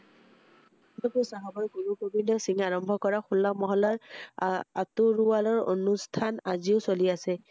আনন্দপুৰ চাহাবৰ গুৰু গোবিন্দ সিং আৰম্ভ কৰা হোলা মহল্লাৰ আহ তৰোৱালৰ আনুস্হান আজিও চলি আছে৷